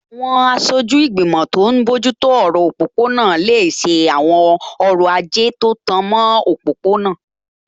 Àwọn aṣojú ìgbìmọ̀ tó n bójú tó ọ̀rọ̀ òpópó-ọ̀nà lè ṣe àwọn ọrọ̀ ajé tó tan mọ́ òpópó-ọ̀nà